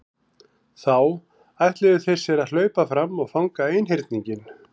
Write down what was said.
Þá ætluðu þeir sér að hlaupa fram og fanga einhyrninginn.